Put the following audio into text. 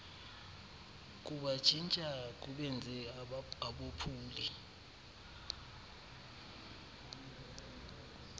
kubatshintsha kubenze abophuli